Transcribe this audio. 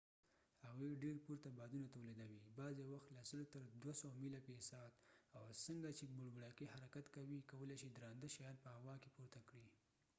هغوی ډیر پورته بادونه تولیدوي بعضی وخت له سلو تر دوه سوو میله فی ساعت او چې څنګه بوړبوړکۍ حرکت کوي کولای شي درانده شیان په هوا کې پورته کړي